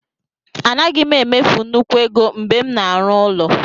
Anaghị m emefu nnukwu ego mgbe m na-arụ ụlọ.